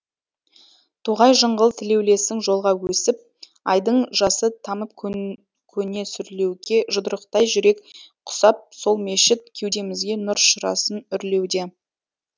тоғай жыңғыл тілеулесің жолға өсіп айдың жасы тамып көне сүрлеуге жұдырықтай жүрек құсап сол мешіт кеудемізге нұр шырасын үрлеуде